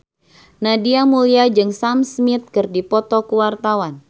Nadia Mulya jeung Sam Smith keur dipoto ku wartawan